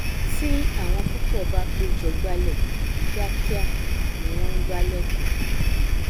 tí àwọn púpọ bá pé jọ gbálẹ kíá kiá ni wọn ngbálẹ tán